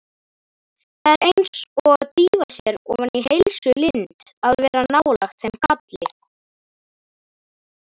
Það er eins og að dýfa sér ofan í heilsulind að vera nálægt þeim kalli.